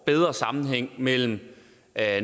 bedre sammenhæng mellem at